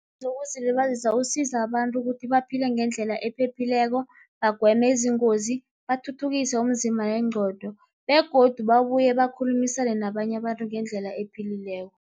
wokuzilibazisa usiza abantu ukuthi baphile ngendlela ephephileko, bagweme izingozi, bathuthukise umzimba nengqondo begodu babuye bakhulumisane nabanye abantu ngendlela ephilileko.